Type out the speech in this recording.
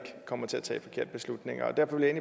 kommer til at tage forkerte beslutninger og derfor vil jeg